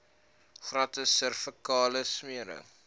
gratis servikale smere